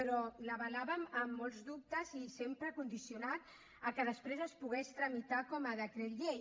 però l’avalàvem amb molts dubtes i sempre condicionat a que després es pogués tramitar com a decret llei